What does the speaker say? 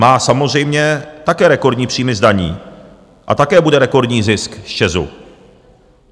Má samozřejmě také rekordní příjmy z daní a také bude rekordní zisk z ČEZu.